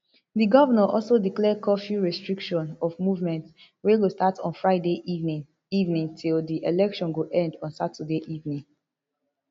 di govnor also declare curfew restriction of movement wey go start on friday evening evening till di election go end on saturday evening